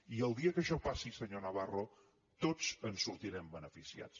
i el dia que això passi senyor navarro tots en sortirem beneficiats